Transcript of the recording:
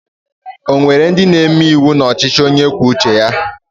O nwere ndị na-eme iwu n'ọchịchị onye kwuo uche ya?